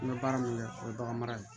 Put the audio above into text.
N bɛ baara min kɛ o ye bagan mara ye